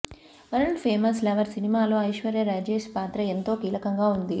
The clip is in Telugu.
వరల్డ్ ఫేమస్ లవర్ సినిమాలో ఐశ్వర్య రాజేష్ పాత్ర ఎంతో కీలకంగా ఉంది